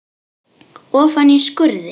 Ofan í skurði.